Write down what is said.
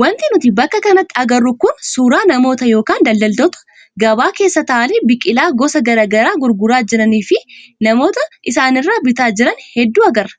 Wanti nuti bakka kanatti agarru kun suuraa namoota yookaan daldaloota gabaa keessa taa'anii biqilaa gosa garaagaraa gurguraa jiranii fi namoota isaanirraa bitaa jiran hedduu agarra.